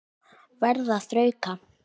Verð að þrauka.